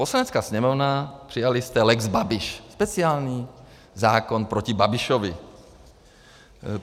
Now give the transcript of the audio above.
Poslanecká sněmovna - přijali jste lex Babiš, speciální zákon proti Babišovi.